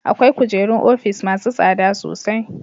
Akwai kujerun ofis masu tsada sosai.